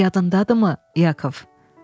Yadındadırımı, Yakov?